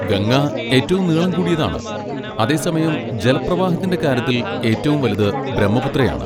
ഗംഗ ഏറ്റവും നീളം കൂടിയതാണ്, അതേസമയം ജലപ്രവാഹത്തിന്റെ കാര്യത്തിൽ ഏറ്റവും വലുത് ബ്രഹ്മപുത്രയാണ്.